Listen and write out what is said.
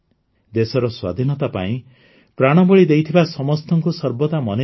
ଦେଶର ସ୍ୱାଧୀନତା ପାଇଁ ପ୍ରାଣବଳି ଦେଇଥିବା ସମସ୍ତଙ୍କୁ ସର୍ବଦା ମନେରଖିବା